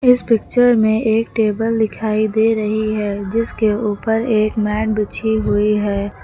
इस पिक्चर में एक टेबल दिखाई दे रही है जिसके ऊपर एक मैट बिछी हुई है।